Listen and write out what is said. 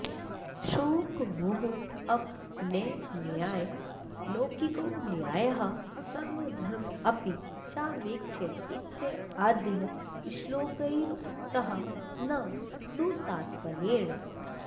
शोकमोहापनयनाय लौकिको न्यायः स्वधर्ममपि चावेक्ष्य इत्याद्यैः श्लोकैरुक्तः न तु तात्पर्येण